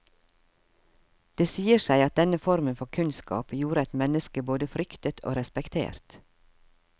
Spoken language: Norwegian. Det sier seg at denne formen for kunnskap gjorde et menneske både fryktet og respektert.